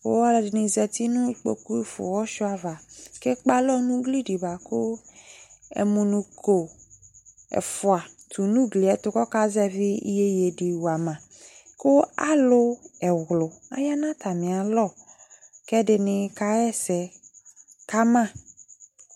ku ɔlu ɛdini za uti nu kpokpu fua uwɔ suia ava ku ekpa alɔ nu ugli di bua ku ɛmunuko ɛfua tu nu ugli yɛ ɛtu ku ɔkazɛvi iyeyui di wa ma ku alu ɛwlu aya nu atami alɔ ku ɛdini kaɣa ɛsɛ ka ma